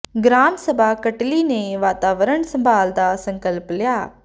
gram ਸਭਾ ਕਟਲੀ ਨੇ ਵਾਤਾਵਰਣ ਸੰਭਾਲ ਦਾ ਸੰਕਲਪ ਲਿਆ